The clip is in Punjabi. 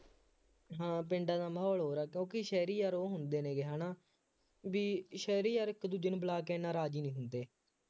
ਹਾਂ ਪਿੰਡਾਂ ਦਾ ਮਾਹੌਲ ਹੋਰ ਹੈ, ਕਿਉਂਕਿ ਸ਼ਹਿਰੀ ਯਾਰ ਉਹ ਹੁੰਦੇ ਨੇ ਗੇ ਹੈ ਨਾ ਬਈ ਸ਼ਹਿਰੀ ਯਾਰ ਇੱਕ ਦੂਜੇ ਨੂੰ ਬੁਲਾ ਕੇ ਐਨਾ ਰਾਜ਼ੀ ਨਹੀਂ ਹੁੰਦੇ,